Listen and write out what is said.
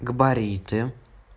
габариты